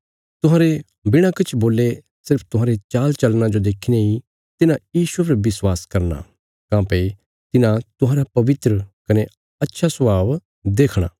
तुहांरे बिणा किछ बोल्ले सिर्फ तुहांरे चालचलना जो देखीने इ तिन्हां यीशुये पर विश्वास करना काँह्भई तिन्हां तुहांरा पवित्र कने अच्छा स्वभाव देखणा